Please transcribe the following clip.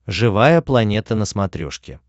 живая планета на смотрешке